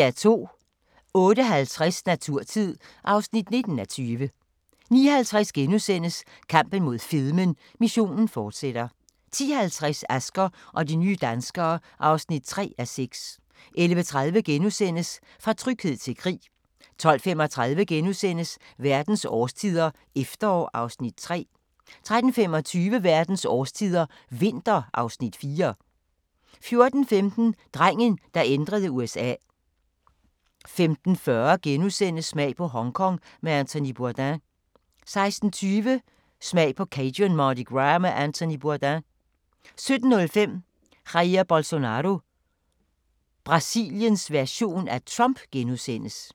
08:50: Naturtid (19:20) 09:50: Kampen mod fedmen – missionen fortsætter * 10:50: Asger og de nye danskere (3:6) 11:30: Fra tryghed til krig * 12:35: Verdens årstider – efterår (Afs. 3)* 13:25: Verdens årstider – vinter (Afs. 4) 14:15: Drengen, der ændrede USA 15:40: Smag på Hongkong med Anthony Bourdain * 16:20: Smag på Cajun Mardi Gras med Anthony Bourdain 17:05: Jair Bolsonaro – Brasiliens version af Trump *